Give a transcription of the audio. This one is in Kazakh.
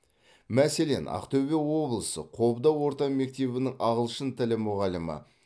мәселен ақтөбе облысы қобда орта мектебінің ағылшын тілі мұғалімі